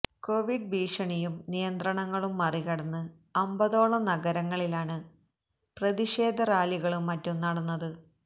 Covid ഭീഷണിയും നിയന്ത്രണങ്ങളും മറികടന്ന് അമ്പതോളം നഗരങ്ങളിലാണ് പ്രതിഷേ റാലികളും മറ്റും നടന്നത്